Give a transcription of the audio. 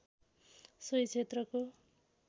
सोही क्षेत्रको